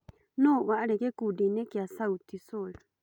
Nũ warĩ gĩkundi-inĩ gĩa Sauti sol